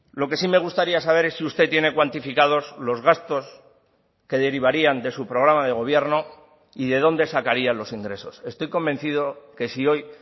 lo que sí me gustaría saber es si usted tiene cuantificados los gastos que derivarían de su programa de gobierno y de dónde sacarían los ingresos estoy convencido que si hoy